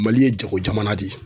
Mali ye jago jamana de ye.